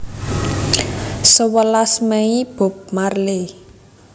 Sewelas Mei Bob Marley